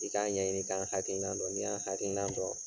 I k'a ɲɛɲini k'an hakilinan dɔn n'i y'an' hakilinan dɔn